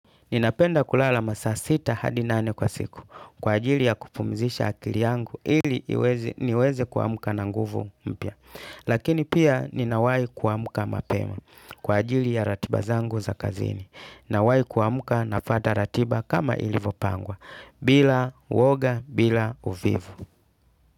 Ninapenda kulala masaa sita hadi nane kwa siku kwa ajili ya kupumzisha akili yangu ili niweze kuamka na nguvu mpya. Lakini pia ninawai kuamka mapema kwa ajili ya ratiba zangu za kazini. Nawahi kuamka, nafuata ratiba kama ilivyopangwa. Bila woga bila uvivu.